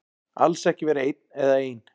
Alls ekki vera einn eða ein.